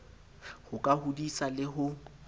ho ka hodisa le ho